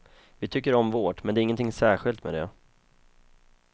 Vi tycker om vårt, men det är ingenting särskilt med det.